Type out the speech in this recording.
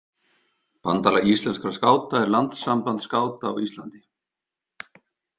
Bandalag íslenskra skáta er landssamband skáta á Íslandi.